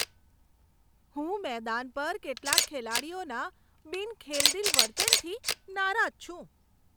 હું મેદાન પર કેટલાક ખેલાડીઓના બિન ખેલદિલ વર્તનથી નારાજ છું.